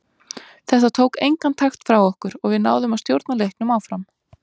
Þetta tók engan takt frá okkur og við náðum að stjórna leiknum áfram.